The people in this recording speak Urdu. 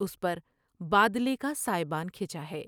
اس پر بادلے کا سائبان کھنچا ہے ۔